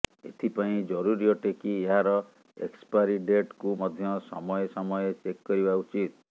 ଏଥିପାଇଁ ଜରୁରୀ ଅଟେ କି ଏହାର ଏକ୍ସପାରୀ ଡେଟକୁ ମଧ୍ୟ ସମୟେ ସମୟେ ଚେକ୍ କରିବା ଉଚିତ